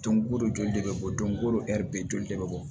Don ko don joli de bɛ bɔ don o don bɛ joli de bɛ bɔ